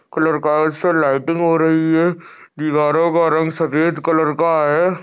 Colour lighting हो रही है दीवारों का रंग सफेद कलर का है।